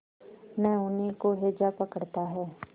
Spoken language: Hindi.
न उन्हीं को हैजा पकड़ता है